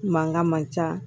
Mankan man ca